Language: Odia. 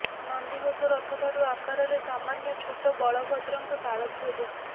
ନନ୍ଦିଘୋଷ ରଥ ଠାରୁ ଆକାରରେ ସାମାନ୍ୟ ଛୋଟ ବଳଭଦ୍ରଙ୍କ ତାଳଧ୍ୱଜ